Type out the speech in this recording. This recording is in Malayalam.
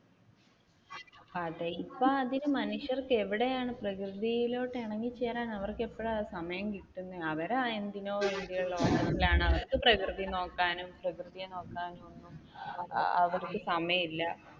അതേ ഇപ്പ അതിന് മനുഷ്യർക്ക് എവിടെയാണ് പ്രകൃതിയിലോട്ട് ഇണങ്ങി ചേരാൻ അവർക്ക് എപ്പഴാ സമയം കിട്ടുന്നെ? അവർ എന്തിനോ വേണ്ടിയുള്ള അവർക്ക് പ്രകൃതി നോക്കാനും പ്രകൃതിയെ നോക്കാനും അവർക്ക് സമയമില്ല.